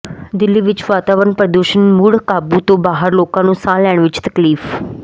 ਦਿੱਲੀ ਵਿੱਚ ਵਾਤਾਵਰਣ ਪ੍ਰਦੂਸ਼ਣ ਮੁੜ ਕਾਬੂ ਤੋਂ ਬਾਹਰ ਲੋਕਾਂ ਨੂੰ ਸਾਹ ਲੈਣ ਵਿੱਚ ਤਕਲੀਫ